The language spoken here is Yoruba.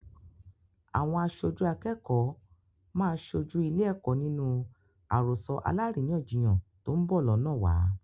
Àwọn aṣojú akẹ́kọ̀ọ́ máa sojú ilé-ẹ̀kọ́ nínú àròsọ alárìíyàn-jiyàn tó ń bọ̀ lọ́nàwa.